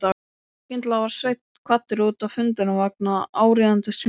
Skyndilega var Sveinn kvaddur út af fundinum vegna áríðandi símtals.